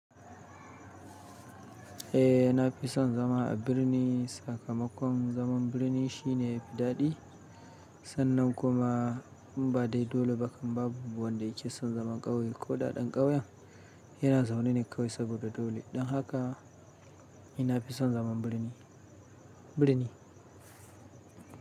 Eh, na fi son zama a birni. Sakamakon zaman birni shine ya fi daɗi sannan kuma inba dai dole ba kan babu wanda yake son zaman ƙauye ko da ɗan ƙauyen yana zaune ne ƙauye saboda dole. Don haka ni na fi son zaman birni, birni.